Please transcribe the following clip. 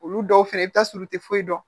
Olu dɔw fɛnɛ i bɛ taa sɔrɔ u tɛ foyi dɔn